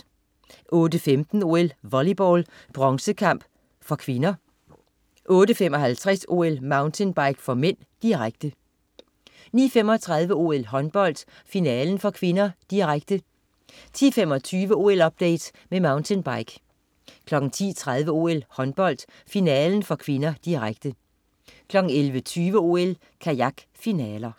08.15 OL: Volleyball, bronzekamp (k) 08.55 OL: Mountainbike (m), direkte 09.35 OL: Håndbold, finalen (k), direkte 10.25 OL-update med mountainbike 10.30 OL: Håndbold, finalen (k), direkte 11.20 OL: Kajak, finaler